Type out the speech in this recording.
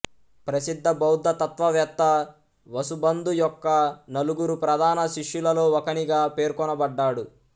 ప్రసిద్ధ బౌద్ధ తత్వవేత్త వసుబందు యొక్క నలుగురు ప్రధాన శిష్యులలో ఒకనిగా పేర్కొనబడ్డాడు